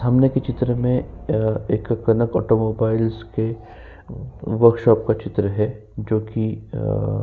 सामने के चित्र में अ एक कनक ऑटोमोबाइलस के वर्कशॉप का चित्र है जो कि अअ --